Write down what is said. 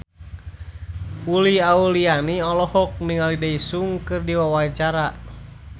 Uli Auliani olohok ningali Daesung keur diwawancara